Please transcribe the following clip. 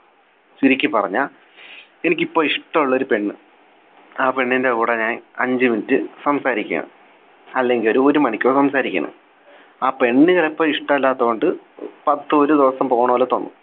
ചുരുക്കിപ്പറഞ്ഞാൽ എനിക്കിപ്പോൾ ഇഷ്ടമുള്ള ഒരു പെണ്ണ് ആ പെണ്ണിൻ്റെ കൂടെ ഞാൻ അഞ്ചു Minute സംസാരിക്കയാണ് അല്ലെങ്കിൽ ഒരു ഒരു മണിക്കൂർ സംസാരിക്കയാണ് ആ പെണ്ണ് ചെലപ്പോ ഇഷ്ടമില്ലാത്തതുകൊണ്ട് പത്ത് ഒരു ദിവസം പോണ പോലെ തോന്നും